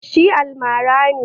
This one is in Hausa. Shi almara ne